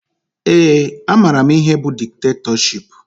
Ee, amara m ihe bụ diktetọship